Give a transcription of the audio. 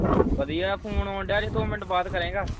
ਵਧੀਆਂ phone ਆਉਣ ਦਿਆ ਜੇ ਦੋ ਮਿੰਟ ਬਾਅਦ ਕਰੇਂਗਾ?